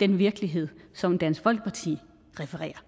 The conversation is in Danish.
den virkelighed som dansk folkeparti refererer